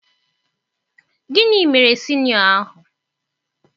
Gịnị mere sinịọ ahụ?